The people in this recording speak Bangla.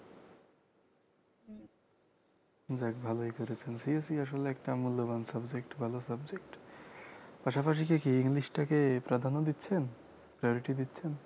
যাক ভালোই করেছেন CSE আসলে একটা মূল্যবান subject ভালো subject পাশাপাশি কি english টা কে প্রাধান্য দিচ্ছেন priority দিচ্ছেন